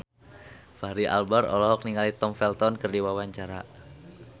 Fachri Albar olohok ningali Tom Felton keur diwawancara